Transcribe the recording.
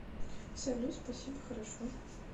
салют спасибо хорошо